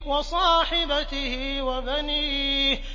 وَصَاحِبَتِهِ وَبَنِيهِ